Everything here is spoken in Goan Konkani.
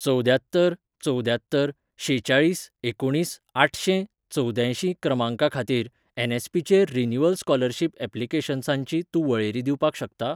चवद्यात्तर चवद्ययात्तर शेचाळीस एकुणीस आठशें चवद्यांयशीं क्रमांका खातीर एन.एस.पी.चेर रिन्यूवल स्कॉलरशिप ऍप्लिकेशन्सांची तूं वळेरी दिवपाक शकता?